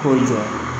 K'o jɔ